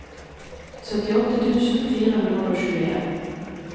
syttiåtte tusen fire hundre og tjueen